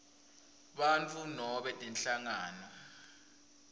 bantfu nobe tinhlangano